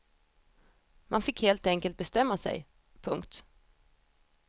Man fick helt enkelt bestämma sig. punkt